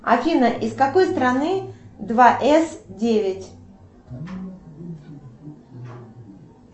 афина из какой страны два с девять